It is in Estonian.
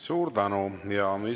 Suur tänu!